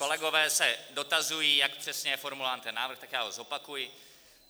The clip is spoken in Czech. Kolegové se dotazují, jak přesně je formulován ten návrh, tak já ho zopakuji.